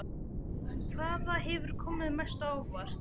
Hvaða hefur komið mest á óvart?